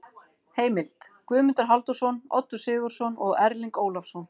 Heimild: Guðmundur Halldórsson, Oddur Sigurðsson og Erling Ólafsson.